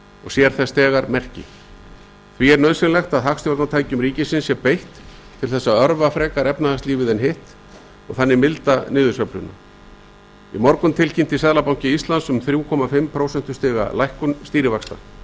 og sér þess þegar merki því er nauðsynlegt að hagstjórnartækjum ríkisins sé beitt til þess að örva efnahagslífið og milda þannig niðursveifluna í morgun tilkynnti seðlabanki íslands um þrjú komma fimm prósentustiga lækkun stýrivaxta